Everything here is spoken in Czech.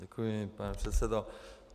Děkuji, pane předsedo.